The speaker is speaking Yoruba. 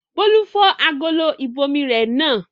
Bólú fọ́ agolo ìbomirẹ náà.